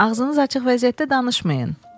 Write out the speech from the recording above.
Ağzınız açıq vəziyyətdə danışmayın.